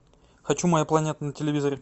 хочу моя планета на телевизоре